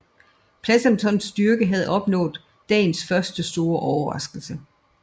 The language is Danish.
Pleasontons styrke havde opnået dagens første store overraskelse